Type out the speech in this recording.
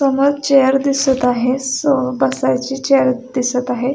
समोर चेअर दिसत आहे बसायची चेअर दिसत आहे.